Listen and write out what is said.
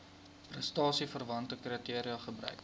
prestasieverwante kriteria gebruik